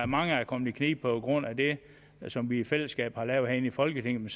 mange er kommet i knibe på grund af det som vi i fællesskab har lavet herinde i folketinget